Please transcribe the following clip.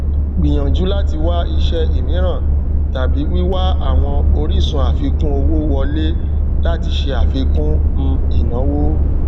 gbìyànjú láti wá ìṣe ímiran tàbí wíwá àwọn orísun àfikún owó wọlé láti ṣe àfikún um ìnáwó